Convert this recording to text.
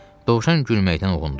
Dovşan gülməkdən uğundu.